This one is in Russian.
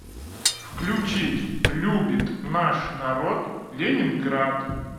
включить любит наш народ ленинград